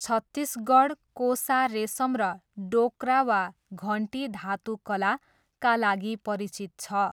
छत्तिसगढ 'कोसा रेसम' र 'डोक्रा वा घन्टी धातु कला' का लागि परिचित छ।